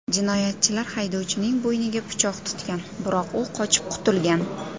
Jinoyatchilar haydovchining bo‘yniga pichoq tutgan, biroq u qochib qutulgan.